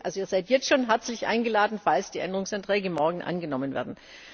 Wirklich, ihr seid jetzt schon herzlich eingeladen, falls die Änderungsanträge morgen angenommen werden.